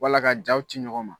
Wala ka jaw ci ɲɔgɔn ma